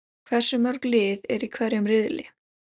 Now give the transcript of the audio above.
Hversu mörg lið eru í hverjum riðli?